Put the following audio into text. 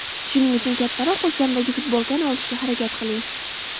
Shuning uchun kattaroq o‘lchamdagi futbolkani olishga harakat qiling.